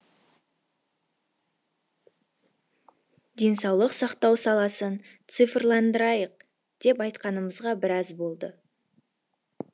денсаулық сақтау саласын цифрландырайық деп айтқанымызға біраз болды